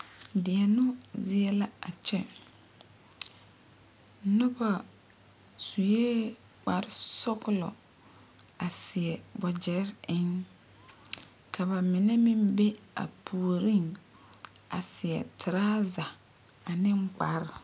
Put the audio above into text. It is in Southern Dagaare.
Deɛnoo z,ie la a kyɛ noba sue kpare sɔglɔ a seɛ wagyɛre eŋ ka ba mine meŋ be a puoriŋ a seɛ toraza ane kpare.